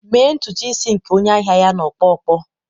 Mee ntutu isi nke onye ahịa ya na ọkpọ ọkpọ